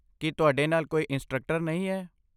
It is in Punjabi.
ਕੀ ਤੁਹਾਡੇ ਨਾਲ ਕੋਈ ਇੰਸਟ੍ਰਕਟਰ ਨਹੀਂ ਹੈ?